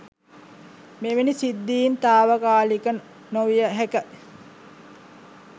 මෙවැනි සිද්ධීන් නවතාලිය නොහැකියි.